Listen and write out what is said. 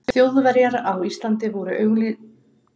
Þjóðverjar á Íslandi voru augsýnilega ekki til stórræða fyrir